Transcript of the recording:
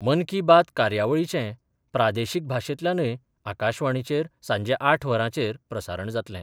मन की बात कार्यावळीचें प्रादेशीक भाशेंतल्यानय आकाशवाणीचेर सांजे आठ वरांचेर प्रसारण जातले.